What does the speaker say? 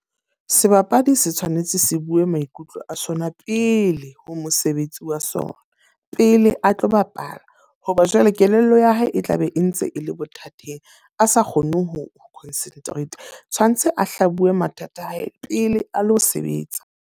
Sebapadi se tshwanetse se bue maikutlo a sona pele ho mosebetsi wa sona. Pele a tlo bapala, ho ba jwale kelello ya hae e tla be e ntse e le bothateng a sa kgone ho concentrate. Tshwanetse a hla bue mathata a hae pele a lo sebetsa.